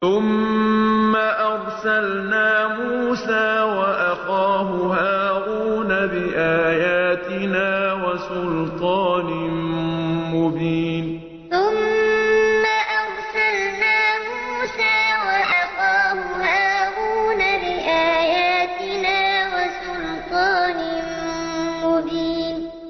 ثُمَّ أَرْسَلْنَا مُوسَىٰ وَأَخَاهُ هَارُونَ بِآيَاتِنَا وَسُلْطَانٍ مُّبِينٍ ثُمَّ أَرْسَلْنَا مُوسَىٰ وَأَخَاهُ هَارُونَ بِآيَاتِنَا وَسُلْطَانٍ مُّبِينٍ